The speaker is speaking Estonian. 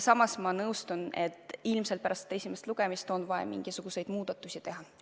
Samas ma nõustun, et ilmselt pärast seda esimest lugemist on vaja mingisuguseid muudatusi teha.